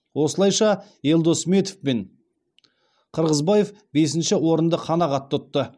осылайша елдос сметов пен қырғызбаев бесінші орынды қанағат тұтты